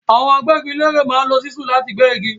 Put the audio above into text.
Àwọn agbẹ́gilére máa ń lo ṣísúù láti gbẹ́ igi.